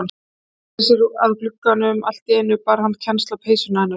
Hún sneri sér út að glugganum, allt í einu bar hann kennsl á peysuna hennar.